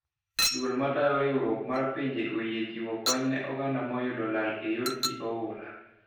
Duol ,matayo riuruok mar pinje oyie chiwo kony ne oganda moyudo lal e yor pii oula